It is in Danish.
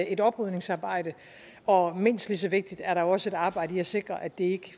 et oprydningsarbejde og mindst lige så vigtigt er der også et arbejde i at sikre at det ikke